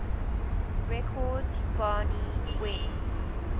records barney went